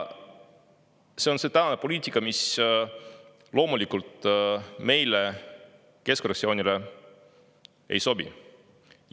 See on see poliitika, mis loomulikult meile, keskfraktsioonile, ei sobi.